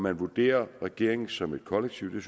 at vurdere regeringen som et kollektiv